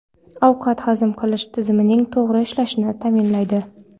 Ovqat hazm qilish tizimining to‘g‘ri ishlashini ta’minlaydi.